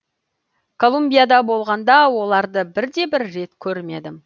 колумбияда болғанда оларды бірде бір рет көрмедім